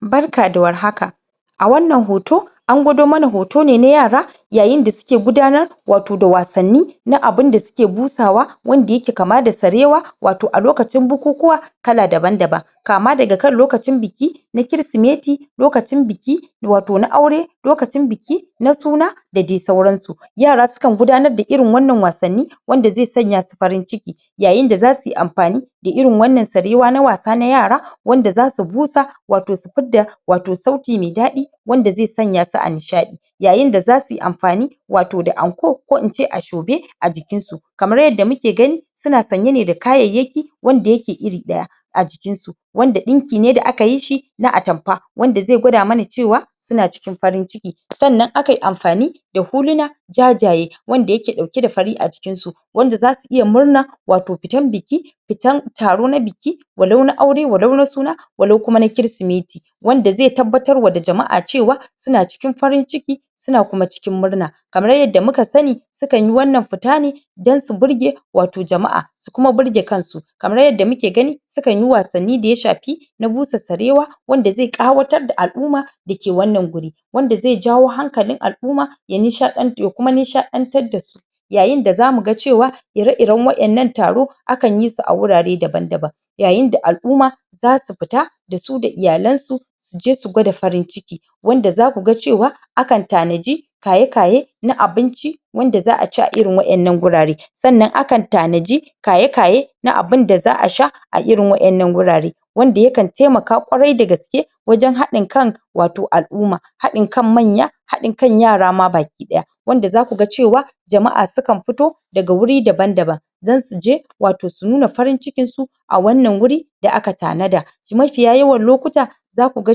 Barka da warhaka a wannan hoto an gwado mana hotone na yara yayinda suke gudanar wato da wasanni na abinda suke busawa wanda yake kama da sarewa wato a lokacin bukukuwa kala daban-daban kama daga kan lokacin biki na kirisimeti lokacin biki wato na aure lokacin biki na suna da dai sauransu yara sukan gudanar da irin wannan wasanni wanda zai sanya su farin ciki yayinda zasuyi amfani da irin wannan sarewa na wasa na yara wanda zasu busa, wato su fidda ,wato sauti me daɗi wanda ze sanya su a nishaɗi yayinda zasuyi amfani wato da anko, ko ince ashobe a jikinsu kamar yadda muke gani suna sanye ne da kayayyaki wanda yake iri ɗaya a jikinsu wanda ɗinkine da aka yishi na atamfa wanda ze gwada mana cewa suna cikin farin ciki sannan akai amfani da huluna jajaye wanda yake ɗauke da fari a jikinsu wanda zasu iya murna wato fitan biki fitan taro na biki walau na aure, walau na suna, walau kuma na kirisimeti wanda ze tabbatar wa da jama'a cewa suna cikin farin ciki suna kuma cikin murna kamar yadda muka sani sukan yi wannan fita ne don su burge wato jama'a su kuma burge kansu kamar yadda muke gani sukanyi wasanni da ya shafi na busa sarewa wanda zai ƙawatar da al'uma dake wannan guri wanda zai jawo hankalin al'uma ya nishaɗan, ya kuma nishaɗantar dasu yayinda zamuga cewa ire-iren waƴannan taro akan yisu a wurare daban-daban yayinda al'uma zasu fita dasu da iyalansu suje ,su gwada farin ciki wanda zakuga cewa akan tanaji kaye-kaye na abinci wanda za aci a irin waƴannan gurare sannan akan tanaji kaye-kaye na abinda za a sha a irin waƴannan gurare wanda yakan taimaka ƙwarai da gaske wajen haɗin kan wato al'uma haɗin kan manya haɗin kan yara ma baki ɗaya wanda zakuga cewa jama'a sukan fito daga wuri daban-daban don suje, wato su nuna farin cikin su a wannan wuri da aka tanada mafiya yawan lokuta zakuga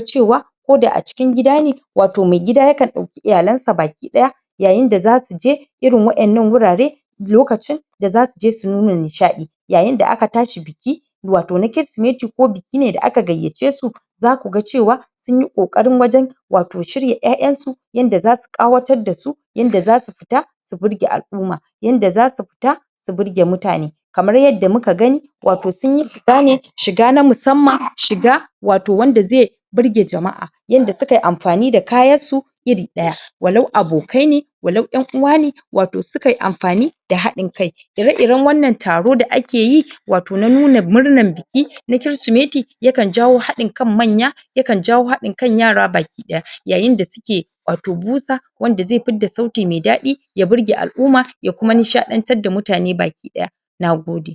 cewa koda a cikin gida ne wato maigida yakan ɗauki iyalansa baki ɗaya yayinda zasuje irin waƴannan wurare lokacin da zasuje su nuna nishaɗi yayinda aka tashi biki wato na kirisimeti, ko biki ne da aka gayyace su zakuga cewa sunyi ƙoƙarin wajen wato shirya ƴaƴansu yanda zasu ƙawatar dasu yanda zasu fita su burge al'uma yanda zasu fita su burge mutane kamar yadda muka gani wato sunyi shiga ne shiga na musamman, shiga wato wanda ze burge jama'a yanda sukayi amfani da kayassu iri ɗaya walau abokai ne walau ƴan uwane wato sukai amfani da haɗin kai ire-iren wannan taro da akeyi wato na nuna murnan biki na kirisimeti yakan jawo haɗin kan manya yakan jawo haɗin kan yara baki ɗaya.yayinda suke wato busa wanda zai fidda sauti mai daɗi ya burge al'uma, ya kuma nishaɗantar da mutane baki ɗaya nagode